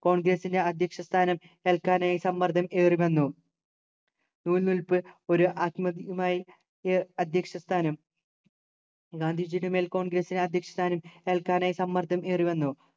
congress ൻ്റെ അധ്യക്ഷ സ്ഥാനം ഏൽക്കാനായി സമ്മർദം ഏറിവന്നു നൂൽ നൂൽപ്പ് ഒരു ആത്മ അധ്യക്ഷസ്ഥാനം ഗാന്ധിജിയുടെ മേൽ congress നു അധ്യക്ഷ സ്ഥാനം ഏൽക്കാനായി സമ്മർദ്ദം ഏറിവന്നു